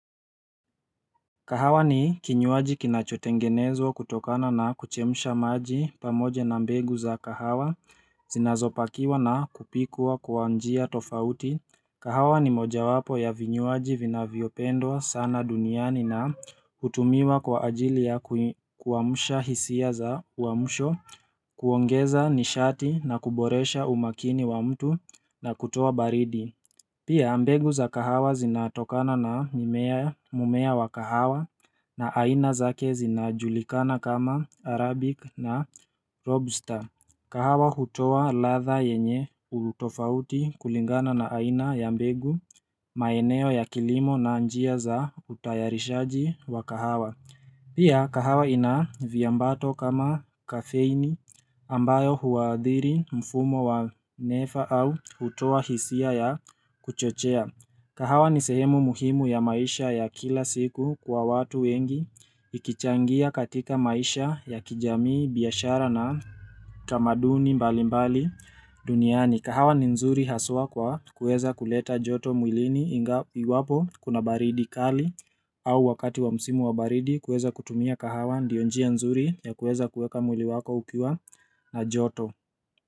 Kahawa ni kinywaji kinachotengenezwa kutokana na kuchemsha maji pamoja na mbegu za kahawa, zinazopakiwa na kupikwa kwa njia tofauti, kahawa ni moja wapo ya vinywaji vinavyopendwa sana duniani na hutumiwa kwa ajili ya kuamsha hisia za uamsho, kuongeza nishati na kuboresha umakini wa mtu na kutoa baridi Pia mbegu za kahawa zinatokana na mimea mmea wa kahawa na aina zake zinajulikana kama Arabic na Robusta. Kahawa hutoa ladha yenye utofauti kulingana na aina ya mbegu maeneo ya kilimo na njia za utayarishaji wa kahawa. Pia kahawa ina viambato kama kafeini ambayo huadhiri mfumo wa nefa au hutoa hisia ya kuchochea. Kahawa ni sehemu muhimu ya maisha ya kila siku kwa watu wengi ikichangia katika maisha ya kijamii biashara na tamaduni mbalimbali duniani. Kuleta joto mwilini iwapo kuna baridi kali au wakati wa msimu wa baridi kueza kutumia kahawa ndiyo njia nzuri ya kueza kueka mwili wako ukiwa na joto.